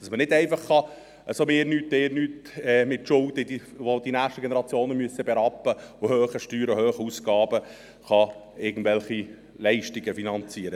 Man kann nicht einfach mir nichts, dir nichts mit Schulden, hohen Steuern und hohen Ausgaben, welche die nächsten Generationen berappen müssen, irgendwelche Leistungen finanzieren.